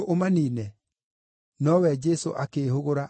Nowe Jesũ akĩĩhũgũra akĩmakaania,